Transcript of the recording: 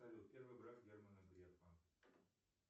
салют первый брак германа грефа